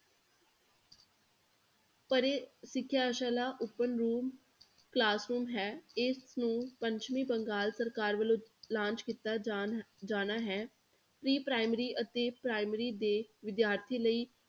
ਪਰੇ ਸਿੱਖਿਆ ਸ਼ਾਲਾ open room classroom ਹੈ ਇਸ ਨੂੰ ਪੱਛਮੀ ਬੰਗਾਲ ਸਰਕਾਰ ਵੱਲੋਂ launch ਕੀਤਾ ਜਾਣ ਜਾਣਾ ਹੈ pre primary ਅਤੇ primary ਦੇ ਵਿਦਿਆਰਥੀ ਲਈ